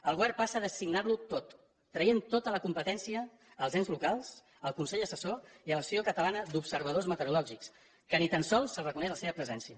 el govern passa a designar lo tot i treu tota la competència als ens locals al consell assessor i a l’associació catalana d’observadors meteorològics als quals ni tan sols els reconeix la seva presència